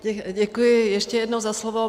Děkuji ještě jednou za slovo.